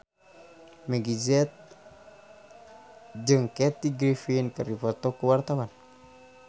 Meggie Z jeung Kathy Griffin keur dipoto ku wartawan